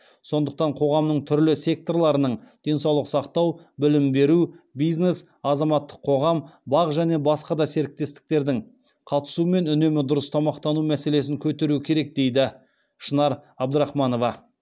сондықтан қоғамның түрлі секторларының денсаулық сақтау білім беру бизнес азаматтық қоғам бақ және басқа да серіктестердің қатысуымен үнемі дұрыс тамақтану мәселесін көтеру керек дейді шынар абдрахманова